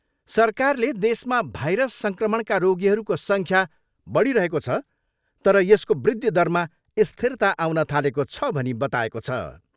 सरकारले देशमा भाइरस सङ्क्रमणका रोगीहरूको सङ्ख्या बढिरहेको छ, तर यसको वृद्धि दरमा स्थिरता आउन थालेको छ भनी बताएको छ।